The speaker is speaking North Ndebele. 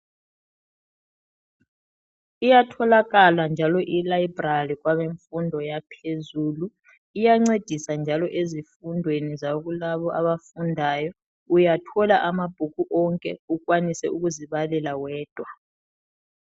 Iyatholakala njalo ilibrary kwabemfundo yaphezulu iyancedisa njalo ezifundweni zakulabo abafundayo uyathola ama bhuku onke ukwanise ukuzibalela wedwa .